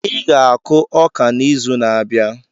Ị ga-akụ ọka n'izu na-abịa.